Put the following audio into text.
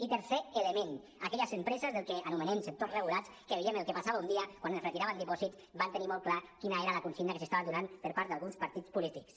i tercer element aquelles empreses del que anomenem sectors regulats que veient el que passava un dia quan es retiraven dipòsits van tenir molt clar quina era la consigna que s’estava donant per part d’alguns partits polítics